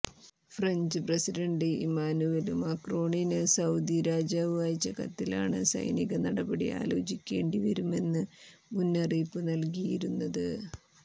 French president Emmanuel മാക്രോണിന് Saudi രാജാവ് അയച്ച കത്തിലാണ് സൈനിക നടപടി ആലോചിക്കേണ്ടിവരുമെന്ന് മുന്നറിയിപ്പ് നല്കിയിരുന്നത്